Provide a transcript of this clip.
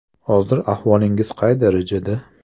Hozir ahvolingiz qay darajada?